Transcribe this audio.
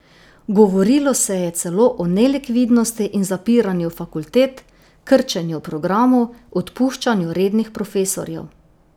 Govorilo se je celo o nelikvidnosti in zapiranju fakultet, krčenju programov, odpuščanju rednih profesorjev.